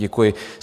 Děkuji.